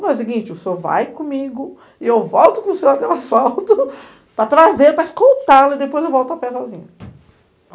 O seguinte, o senhor vai comigo e eu volto com o senhor até o assalto para trazer, para escoltá-lo, e depois eu volto a pé sozinha.